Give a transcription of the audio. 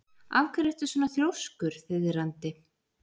Af hverju ertu svona þrjóskur, Þiðrandi?